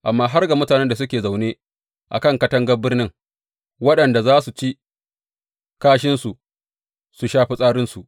Amma har ga mutanen da suke zaune a kan katangar birnin, waɗanda za su ci kashinsu, su sha fitsarinsu!